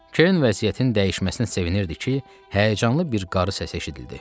Kern vəziyyətin dəyişməsinə sevinirdi ki, həyəcanlı bir qarı səsi eşidildi.